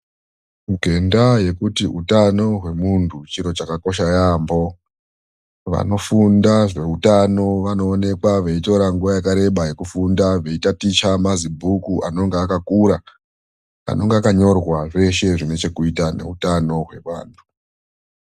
Ngendaa yekuti utano hwemuntu chiro chakakosha yampo, vanofunda zveutano vanooneka veitora nguva yakareba veitaticha mazibhuku anenge akakura anenge akanyorwa zveshe zvinechekuita ngeutano hwevantu.